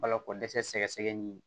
Balokodɛsɛ sɛgɛsɛgɛli